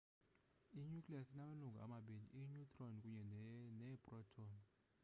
i-nucleus inamalungu amabini i-neutron kunye neeproton